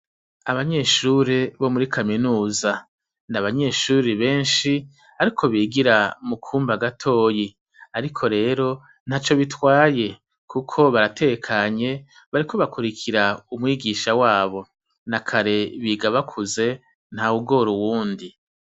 Abanyeshure bo mur kaminuza nabanyeshure benshi bariko bigira mukumba gatoyi ariko rero ntaco bitwaye kuko baratekanye bariko bakurikira umwigisha wabo nakare biga bakuze ntawugora uwundi